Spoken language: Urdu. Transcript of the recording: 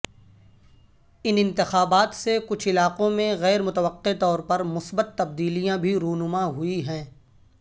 ان انتخابات سے کچھ علاقوں میں غیر متوقع طورپر مثبت تبدیلیاں بھی رونما ہوئی ہیں